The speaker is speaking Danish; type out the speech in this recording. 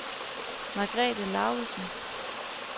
Margrethe Laugesen